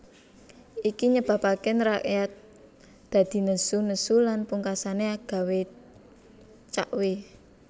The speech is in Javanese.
Iki nyebabake rakyat dadi nesu nesu lan pungkasane gawé Cakhwe